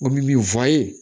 O min fɔ a ye